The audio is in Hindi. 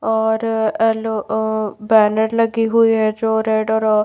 और एल अ बॅनर लगे हुए है जो रेड अ--